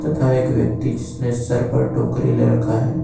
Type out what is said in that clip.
तथा एक व्यक्ति जिसने सर पर टोकरी ले रक्खा है।